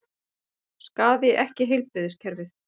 Skaði ekki heilbrigðiskerfið